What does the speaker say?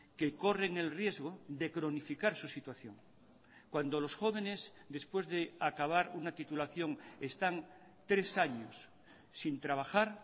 que corren el riesgo de cronificar su situación cuando los jóvenes después de acabar una titulación están tres años sin trabajar